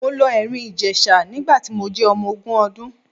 Mo lọ Ẹ̀rìn-Ìjèṣa nígbà tí mo jẹ́ ọmọ ogún ọdún.